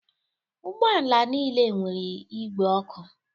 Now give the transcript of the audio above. Ụgbọala niile nwèrè ìgwè ọkụ.